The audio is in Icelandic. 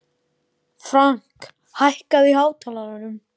Frank, hækkaðu í hátalaranum.